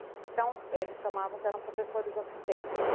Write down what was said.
Então, eles chamavam, eram professores assistentes.